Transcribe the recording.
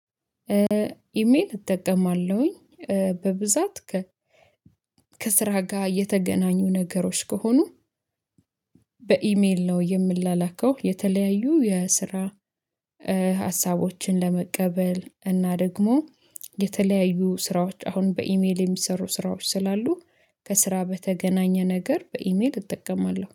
ኢሜል እጠቀማለሁኝ በብዛት ከ ከስራ ጋር የተገናኙ ነገሮች ከሆኑ በኢሜል ነው የምላላከው። የተለያዩ የስራ ሀሳቦችን ለመቀበል እና ደግሞ የተለያዩ ስራዎች አሁን በኢሜል የሚሰሩ ስራዎች ስላሉ ከስራ በተገናኘ ነገር በኢሜል እጠቀማለሁ